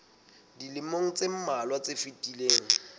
dilemong tse mmalwa tse fetileng